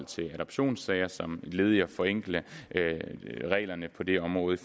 til adoptionssager som led i at forenkle reglerne for det område